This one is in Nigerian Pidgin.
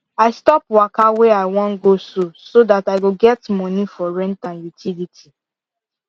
i stop waka way i wan go so so that i go get money for rent and utility